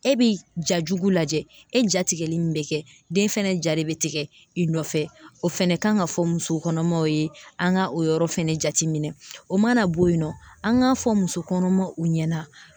E bi ja jugu lajɛ e jatigɛlen bɛ kɛ den fɛnɛ ja de bɛ tigɛ i nɔfɛ o fɛnɛ kan ka fɔ muso kɔnɔmaw ye an ka o yɔrɔ fɛnɛ jate minɛ o mana bɔ yen nɔ an k'a fɔ muso kɔnɔmaw u ɲɛna